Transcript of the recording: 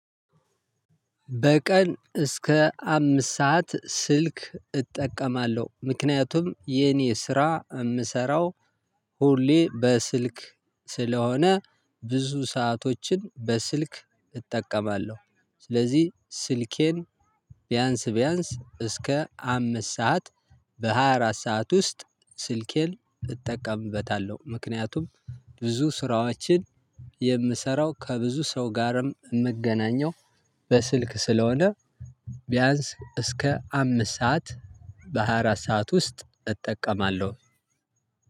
በቀን እስከ አምስት ሰዓት ስልክ እጠቀማለሁ። ምክንያቱም የኔ ስራ የምሰራው ሁሌ በስልክ ስለሆነ ብዙ ሰአቶችን በስልክ እጠቀማለሁ። ስለዚህ ስልኬን ቢያንስ ቢያንስ እስከ አምስት ሰዓት በሃያ አራት ሰዓት ውስጥ ስልኬን እጠቀምበታለሁ። ምክንያቱም ብዙ ስራዎችን የምሰራው ከብዙ ሰው ጋርም የምገናኘው በስልክ ስለሆነ ቢያንስ እስከ አምስት ሰዓት በሃያ አራት ሰዓት ውስጥ እጠቀማለሁ።